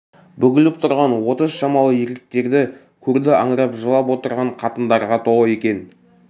бүгіліп тұрған отыз шамалы еркекті көрді аңырап жылап отырған қатындарға толы екен